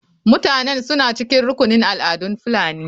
Mutanen suna cikin rukunin al'adun fulani.